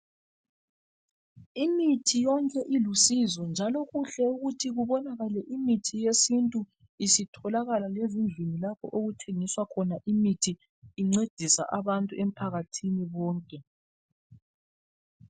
Imithi yonke ilusizo njalo kuhle ukuthi kubonakale imithi yesintu isitholakala lezindlini lapho okuthengiswa khona imithi incedisa abantu emphakathini wonke.